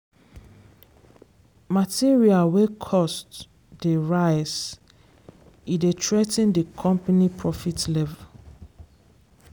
material wey cost dey rise e dey threa ten di company profit level.